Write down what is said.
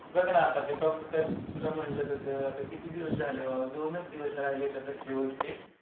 बघ ना आता ते कम्प्युटर तुला म्हटलं तसं आता किती दिवस झाले. दोनच दिवस राहिल्यात आता शेवटचे.